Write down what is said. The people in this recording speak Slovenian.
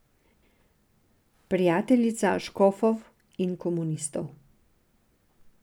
Prijateljica škofov in komunistov.